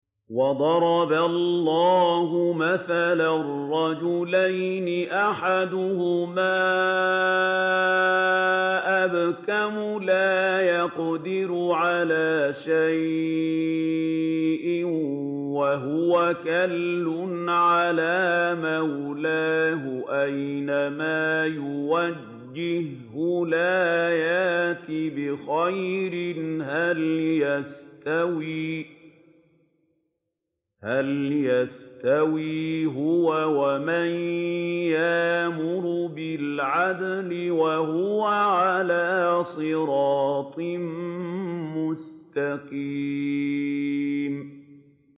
وَضَرَبَ اللَّهُ مَثَلًا رَّجُلَيْنِ أَحَدُهُمَا أَبْكَمُ لَا يَقْدِرُ عَلَىٰ شَيْءٍ وَهُوَ كَلٌّ عَلَىٰ مَوْلَاهُ أَيْنَمَا يُوَجِّههُّ لَا يَأْتِ بِخَيْرٍ ۖ هَلْ يَسْتَوِي هُوَ وَمَن يَأْمُرُ بِالْعَدْلِ ۙ وَهُوَ عَلَىٰ صِرَاطٍ مُّسْتَقِيمٍ